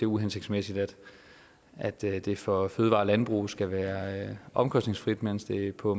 uhensigtsmæssigt at det det for fødevarer og landbrug skal være omkostningsfrit mens der på